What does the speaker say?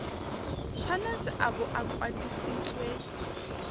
tshwanetse a bo a kwadisitswe